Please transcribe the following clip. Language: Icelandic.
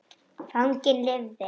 Fanginn lifði.